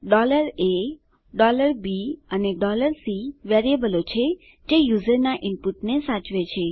a b અને c વેરીએબલો છે જે યુઝરના ઈનપુટને સાચવે છે